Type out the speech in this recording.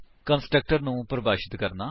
constructor ਨੂੰ ਪਰਿਭਾਸ਼ਿਤ ਕਰਨਾ